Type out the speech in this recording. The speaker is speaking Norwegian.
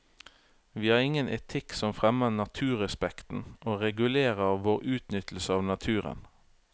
Vi har ingen etikk som fremmer naturrespekten og regulerer vår utnyttelse av naturen.